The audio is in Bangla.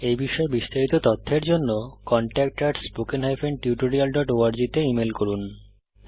এই বিষয়ে বিস্তারিত তথ্যের জন্য contactspoken tutorialorg তে ইমেল করুন